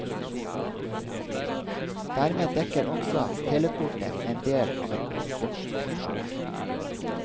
Dermed dekker også telekortet en del av et postkorts funksjon.